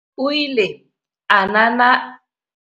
O ile a nana.